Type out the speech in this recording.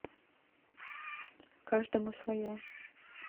каждому свое